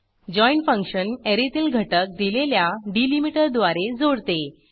join function ऍरेतील घटक दिलेल्या डिलीमीटरद्वारे जोडते